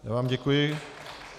Já vám děkuji.